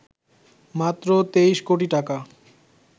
মাত্র ২৩ কোটি টাকা